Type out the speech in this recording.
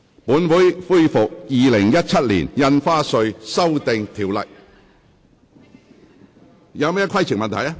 本會恢復《2017年印花稅條例草案》的二讀辯論。